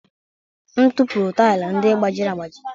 M tụpụrụ taịlị ndị gbajiri agbaji.